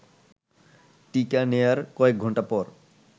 টিকা নেয়ার কয়েকঘণ্টা পর